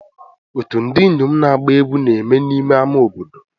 Otu ndị inyom na-agba egwu na-eme n'ime ama obodo.